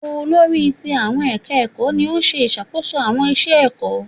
Olórí ti àwọn ẹ̀ka ẹ̀kọ́ ni ó ń ṣe ìṣàkóso àwọn iṣẹ ẹ̀kọ́.